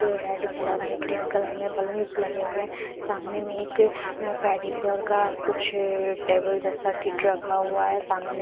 red colour में green colour में balloons लगे हुए हैं सामने में एक अं पेडीक्योर का कुछ टेबल जैसा किट रखा हुआ है सामने मे--